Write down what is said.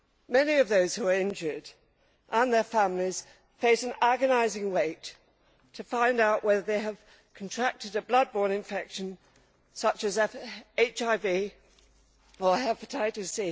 Many of those who are injured, and their families, face an agonising wait to find out whether they have contracted a blood borne infection such as HIV or hepatitis